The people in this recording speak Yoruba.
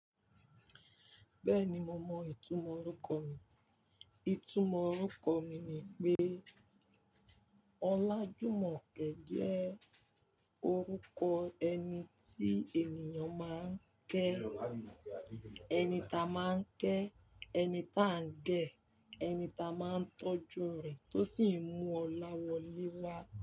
Bẹ́ẹ̀ni, mo mọ ìtumọ̀ orúkọ mi. Ìtumọ̀ orúkọ mi ni pé Ọlájùmọ̀kẹ́ jẹ́ orúkọ ẹni tí ènìyàn máa ń kẹ́. Ẹni ta máa ń kẹ́, ẹni ta ń gẹ̀, ẹni ta máa ń tọ́jú rẹ̀ tó sì ń mú ọlá wọlé wá.